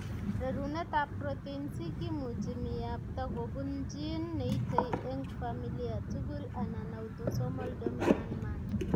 Rerunetab protein c kimuchi miyapta kobun gene neitei eng' familia tugul anan autosomal dominant manner.